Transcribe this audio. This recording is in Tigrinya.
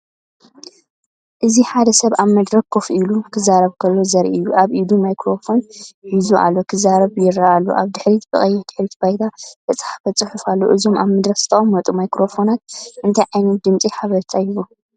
እዚ ሓደ ሰብ ኣብ መድረኽ ኮፍ ኢሉ ክዛረብ ከሎ ዘርኢ እዩ። ኣብ ኢዱ ማይክሮፎን ሒዙ ኣሎ ክዛረብ ይረአ ኣሎ። ኣብ ድሕሪት ብቐይሕ ድሕረ ባይታ ዝተጻሕፈ ጽሑፍ ኣሎ። እዞም ኣብ መድረኽ ዝተቐመጡ ማይክሮፎናት እንታይ ዓይነት ናይ ድምጺ ሓበሬታ ይህቡ?